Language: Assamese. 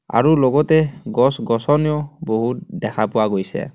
আৰু লগতে গছ গছ ও বহুত দেখা পোৱা গৈছে.